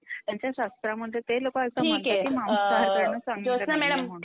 त्यांच्या शास्रामध्ये ते लोक असं मानतात कि